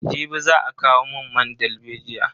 Jibi za a kawo mun man dalbejiya.